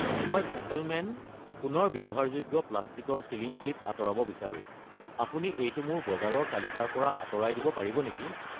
মই ফেকলমেন পুনৰ ব্যৱহাৰযোগ্য প্লাষ্টিকৰ ছিলিং ক্লিপ আঁতৰাব বিচাৰো, আপুনি এইটো মোৰ বজাৰৰ তালিকাৰ পৰা আঁতৰাই দিব পাৰিব নেকি?